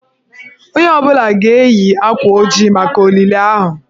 Onye ọ bụla ga-eyi akwa ojii maka olili ahụ.